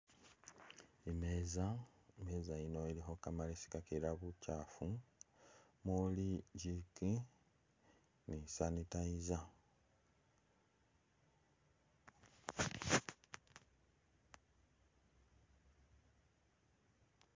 Imeza, imeza yino ilikho kamalesi kakiira bukyafu mumuli jik ni sanitizer.